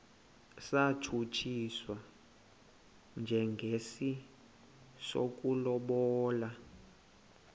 satshutshiswa njengesi sokulobola